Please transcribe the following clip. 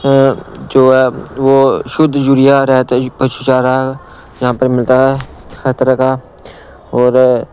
अ जो है वो शुद्ध यूरिया रहता है पशुचारा यहां पर मिलता है हर तरह का और--